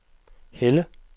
Helle